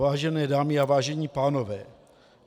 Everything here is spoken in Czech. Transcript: Vážené dámy a vážení pánové.